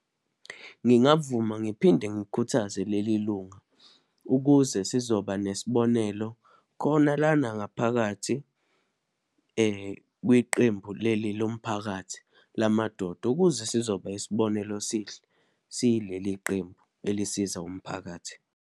Ngingavuma, ngiphinde ngikhuthaze leli lunga, ukuze sizoba nesibonelo khona lana ngaphakathi kwiqembu leli lomphakathi lamadoda, ukuze sizoba isibonelo esihle, siyileliqembu elisiza umphakathi.